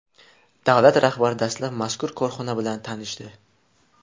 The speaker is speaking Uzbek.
Davlat rahbari dastlab mazkur korxona bilan tanishdi.